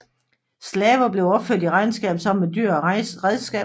Slaver blev opført i regnskabet sammen med dyr og redskaber